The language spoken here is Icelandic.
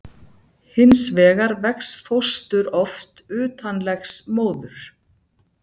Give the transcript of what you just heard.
Hins vegar vex fóstur oft utan legs móður.